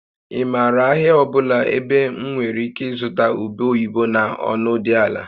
Ị maara ahịa ọ bụla ebe m nwere ike ịzụta ube oyibo na ọnụ dị ala?